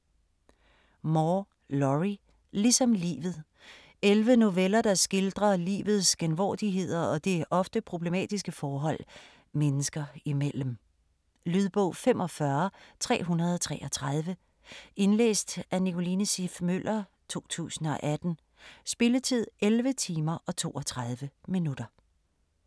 Moore, Lorrie: Ligesom livet 11 noveller, der skildrer livets genvordigheder og det ofte problematiske forhold mennesker imellem. Lydbog 45333 Indlæst af Nicoline Siff Møller, 2018. Spilletid: 11 timer, 32 minutter.